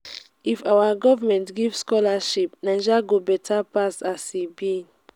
if our government give scholarship naija go beta pass as e be.